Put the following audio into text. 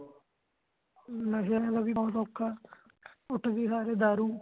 ਨਸ਼ੇ ਨਾਲ ਵੀ ਬੋਹਤ ਔਖਾ ਖਾਂ ਤੇ ਦਾਰੂ